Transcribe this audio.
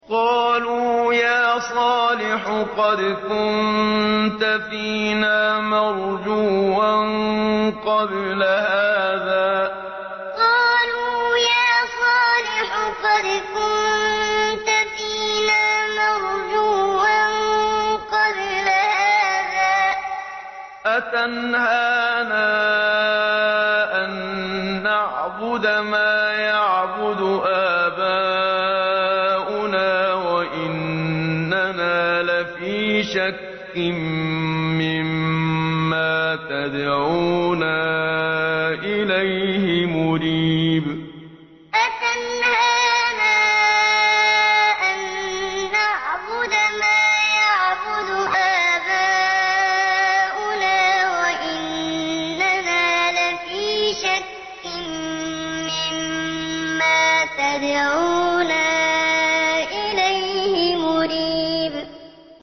قَالُوا يَا صَالِحُ قَدْ كُنتَ فِينَا مَرْجُوًّا قَبْلَ هَٰذَا ۖ أَتَنْهَانَا أَن نَّعْبُدَ مَا يَعْبُدُ آبَاؤُنَا وَإِنَّنَا لَفِي شَكٍّ مِّمَّا تَدْعُونَا إِلَيْهِ مُرِيبٍ قَالُوا يَا صَالِحُ قَدْ كُنتَ فِينَا مَرْجُوًّا قَبْلَ هَٰذَا ۖ أَتَنْهَانَا أَن نَّعْبُدَ مَا يَعْبُدُ آبَاؤُنَا وَإِنَّنَا لَفِي شَكٍّ مِّمَّا تَدْعُونَا إِلَيْهِ مُرِيبٍ